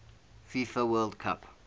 fifa world cup